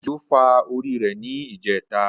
Ojo fà orí rẹ̀ ní ijẹtà.